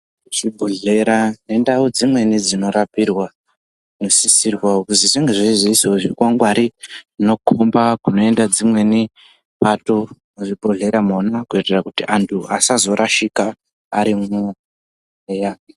Zvibhohlera nendau dzimweni dzinorapirwa dzinosisirwa kuzi zvinge zveizoisawo zvikwangwari zvinokomba kunoenda dzimweni pato muzvibhohlera mwona. Kuitira kuti antu asazorashika arimwo, eya.